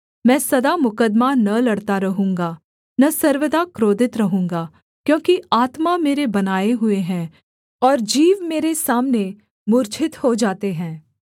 मैं सदा मुकद्दमा न लड़ता रहूँगा न सर्वदा क्रोधित रहूँगा क्योंकि आत्मा मेरे बनाए हुए हैं और जीव मेरे सामने मूर्छित हो जाते हैं